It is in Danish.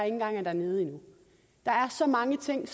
engang er dernede endnu der er så mange ting